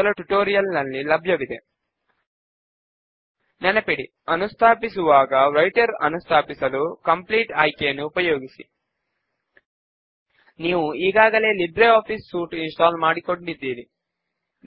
గత ట్యుటోరియల్స్ లో మనము history of books issued to members query